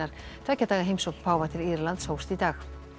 tveggja daga heimsókn páfa til Írlands hófst í dag